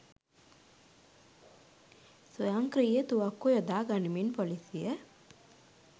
ස්වයංක්‍රීය තුවක්කු යොදා ගනිමින් පොලිසිය